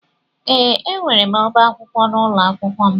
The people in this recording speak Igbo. Ee, enwere m ọbá akwụkwọ n'ụlọ akwụkwọ m.